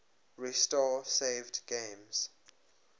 restore saved games